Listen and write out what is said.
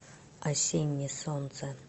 осенне солнце